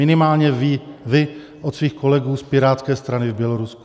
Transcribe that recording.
Minimálně vy od svých kolegů z pirátské strany v Bělorusku.